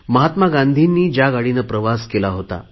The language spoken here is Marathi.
महात्मा गांधींनी ज्या गाडीने प्रवास केला होता